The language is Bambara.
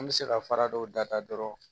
An bɛ se ka fara dɔw da dɔrɔn